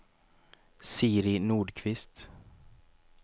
Siri Nordqvist